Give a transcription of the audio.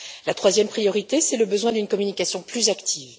La troisième priorité, c'est le besoin d'une communication plus active.